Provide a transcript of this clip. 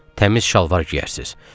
Təmiz şalvar geyərsiniz.